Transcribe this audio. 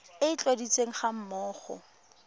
e e tladitsweng ga mmogo